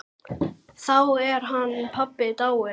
Þá er hann pabbi dáinn.